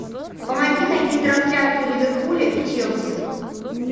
помоги найти трансляцию ливерпуля и челси